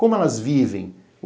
Como elas vivem?